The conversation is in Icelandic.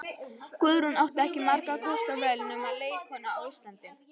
Guðrún átti ekki margra kosta völ sem leikkona á Íslandi.